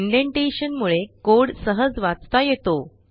indentation मुळे code सहज वाचता येतो